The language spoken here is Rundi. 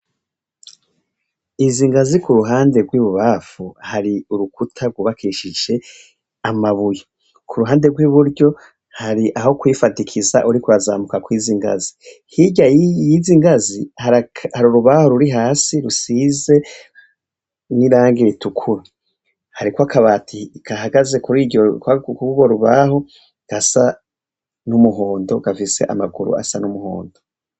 Izingazi kuruhande rwibubamfu hari urukuta gubakishije amabuye kuruhande rwiburyo hari aho kwifadikiza uriko urazamuka kwizingazi hirya yizingazi hari urubaho ruri hasi rusize nirangi ritukura hariko akabati gahagaze kurugo rubaho gasa numuhondo gafise amaguru asa numuhondo